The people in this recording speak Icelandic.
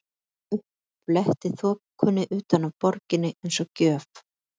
Sólin kom upp, fletti þokunni utan af borginni eins og gjöf.